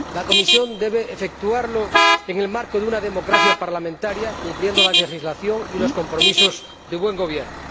La Comisión debe efectuarlo en el marco de una democracia parlamentaria, cumpliendo la legislación y los compromisos de buen gobierno.